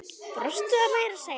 Brostu meira að segja.